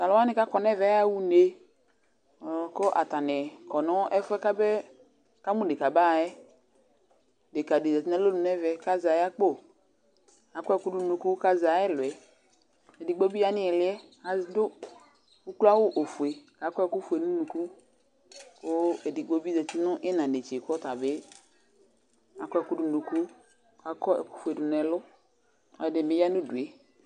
Talʊ waŋɩ ƙo ŋɛʋɛ ƴaƴa ʊne, ƙataŋɩ kɔ ŋɛfʊɛ ɓʊakʊ ama wama ʊŋe ɓʊaƙʊ ataŋɩ maƴa ƴɛ Deƙa dɩ zatɩ ŋeʋɛ ƙa zɛ aƴʊ akpo, akɔ ɛkʊ dʊ ŋʊ ʊŋʊƙʊ ka zɛ aƴʊ ɛlʊ ƴɛ Edɩgbo ɓɩ ya ŋɩlɩ yɛ adʊ ʊklɔawʊ ofʊe ka ƙɔ ɛkʊ fʊe ŋʊ ʊnʊkʊ ƙʊ edɩgbo ɓɩ zatɩ ŋɩɩƴɩŋz ŋetse ƙɔtabɩ aƙɔ ɛkʊ dʊ nʊ ʊnʊkʊ ka kɔ ɛkʊ fʊe dʊ ŋu ɛlʊ kɛdibɩ ƴa ŋu udʊe